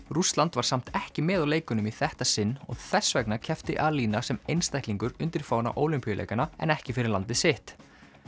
Rússland var samt ekki með á leikunum í þetta sinn og þess vegna keppti Alina sem einstaklingur undir fána Ólympíuleikanna en ekki fyrir landið sitt